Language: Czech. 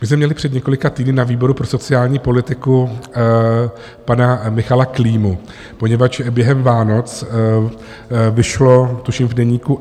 My jsme měli před několika týdny na výboru pro sociální politiku pana Michala Klímu, poněvadž během Vánoc vyšel tuším v Deníku